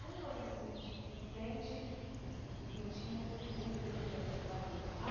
Como você se senti sente e se se sentiu sempre recebida pelo país?